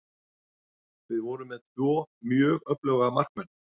Við vorum með tvo mjög öfluga markmenn.